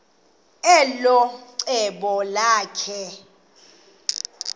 elo cebo lakhe